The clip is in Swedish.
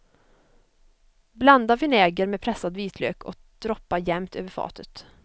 Blanda vinäger med pressad vitlök och droppa jämnt över fatet.